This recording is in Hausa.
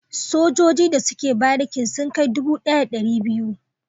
Sojoji da suke barikin sun kai dubu daya da dari biyu